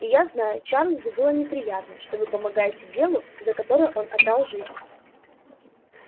и я знаю чарлзу было бы приятно что вы помогаете делу за которое он отдал жизнь